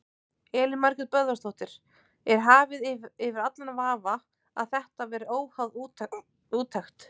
Elín Margrét Böðvarsdóttir: Er hafið yfir allan vafa að þetta verið óháð úttekt?